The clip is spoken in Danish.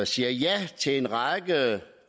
siger ja til en række